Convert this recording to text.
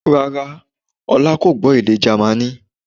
Rárá, Ọlá kò gbọ́ èdè Jamaní